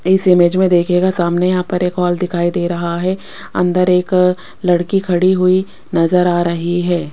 इस इमेज में देखिएगा सामने यहां पर एक हॉल दिखाई दे रहा है अंदर एक लड़की खड़ी हुई नजर आ रही है।